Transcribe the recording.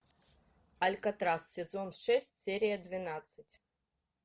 алькатрас сезон шесть серия двенадцать